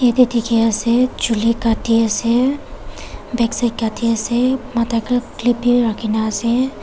aate dikhiase chuli katiase backside katiase matha te clip bi rakhina ase.